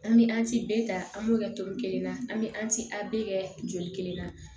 An bɛ an ti bɛɛ ta an b'o kɛ tɔn kelen na an bɛ an ti a bɛɛ kɛ joli kelen na